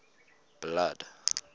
blood